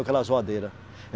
Aquela zoadeira.